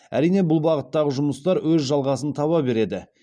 әрине бұл бағыттағы жұмыстар өз жалғасын таба береді